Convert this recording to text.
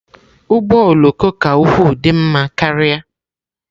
Ụgbọ oloko ka ukwuu dị mma karịa.